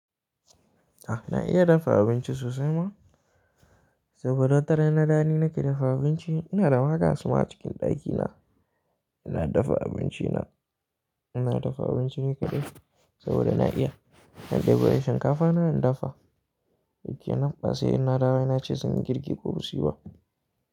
A na iya dafa abinci sosai ma, saboda wataran in na dawo ni nake dafa abinci. Ina da ma gas ma a cikin ɗakina. Ina dafa abinci na, ina dafa abinci ni kaɗai saboda na iya. Na ɗebo shinkafa na in dafa, shi kenan. Ba sai in na dawo na ce sun yi girki ko ba siyi ba.